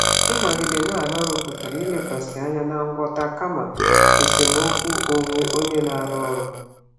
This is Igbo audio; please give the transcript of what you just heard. Ịnọgide dị ka ọkachamara pụtara ilekwasị anya na ngwọta kama esemokwu onwe n'ebe ọrụ.